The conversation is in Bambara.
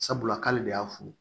Sabula k'ale de y'a funu